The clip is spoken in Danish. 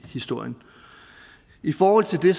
historien i forhold til det